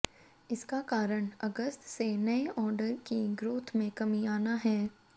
इसका कारण अगस्त से नए आर्डर की ग्रोथ में कमी आना है